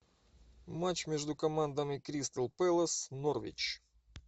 матч между командами кристал пэлас норвич